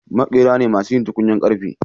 Maƙera ne masu yin tukunyar karfe